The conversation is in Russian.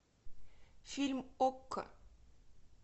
фильм окко